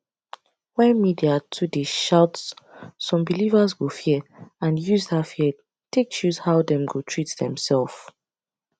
when media too dey shout some believers go fear and use that fear take choose how dem go treat demself